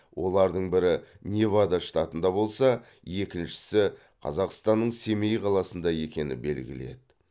олардың бірі невада штатында болса екіншісі қазақстанның семей қаласында екені белгілі еді